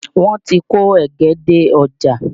Wọ́n ti kó ẹ̀gẹ́ dé ọ́jà